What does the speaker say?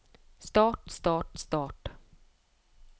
start start start